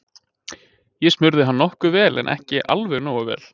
Ég smurði hann nokkuð vel en ekki alveg nógu vel.